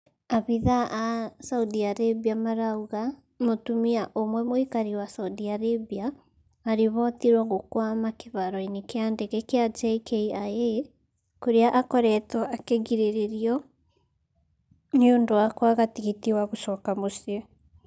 Afithaa a saudi arabia marauga mũtumia ũmwe mũikari wa saudi arabia aribotirwo gũkwama kĩharo-inĩ kĩa ndege kia JKIA kũrĩa akoretwo akĩgirĩrĩrio nĩundũ wa kwaga tigiti wa gũcoka mũcii